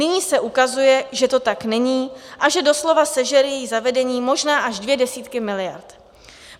Nyní se ukazuje, že to tak není a že doslova sežere její zavedení možná až dvě desítky miliard.